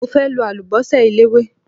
Mo fẹ́ lo àlùbọ́sà eléwé.